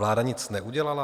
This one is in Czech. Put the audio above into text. Vláda nic neudělala?